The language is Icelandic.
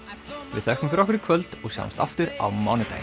við þökkum fyrir okkur í kvöld og sjáumst aftur á mánudaginn